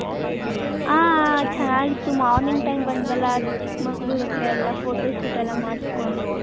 ಹ ಹ ಚೆನ್ನಗಿತು ಮಾರ್ನಿಂಗ್ time ಬಂದ್ರಲ್ಲ ಅದು ಚಿಕ್ ಮಂಗಳೂರ ಅತ್ರ ಎಲ್ಲಾ photo shoot ಎಲ್ಲಾ ಮಾಡಸ್ಕೊಂದು .